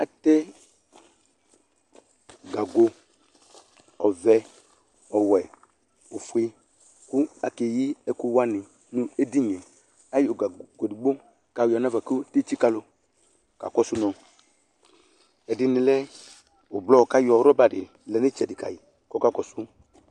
Atɛ gago ɔvɛ ɔwɛ ofué ku akéyi ɛku wani nu édinié ayɔ gapopo édigbo kayɔ nafa ké tsika lu kakɔsu nɔ ɛdini lɛ ublɔ kayɔ rɔba di lɛ nu itsɛdi kayi kɔ ka kɔsu